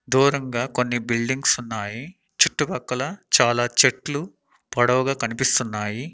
దూరంగ కొన్ని బిల్డింగ్స్ ఉన్నాయి చుట్టు పక్కల చాలా చెట్లు పొడవుగా కనిపిస్తున్నాయి.